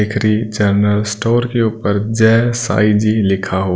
दिख रि general store के ऊपर जय साईं जी लिखा हुआ--